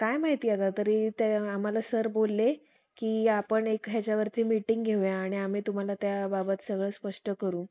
काय माहिती अगं तरी ते आम्हाला सर बोलले कि आपण एक ह्याच्यावरती मीटिंग घेऊया आणि आम्ही तुम्हाला त्या बाबत सगळं स्पष्ट करू.